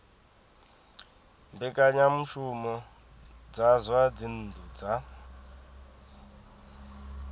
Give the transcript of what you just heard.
mbekanyamushumo dza zwa dzinnu dza